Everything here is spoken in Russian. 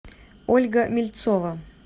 ольга мельцова